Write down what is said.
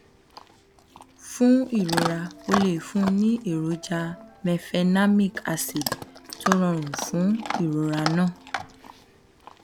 fún ìrora o lè fún un ní èròjà mefenamic acid tó rọrùn fún ìrora náà